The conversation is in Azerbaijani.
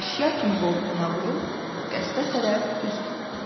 Əşya kimi qoltuğuna vurub qəsrə tərəf üz tutdu.